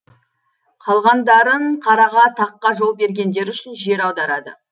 қалғандарын қараға таққа жол бергендері үшін жер аударады